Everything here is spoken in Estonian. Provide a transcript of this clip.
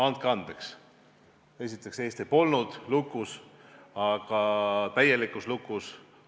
Andke andeks, aga esiteks polnud Eesti täielikult lukus.